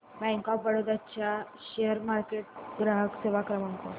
bank of Baroda चा share market ग्राहक सेवा क्रमांक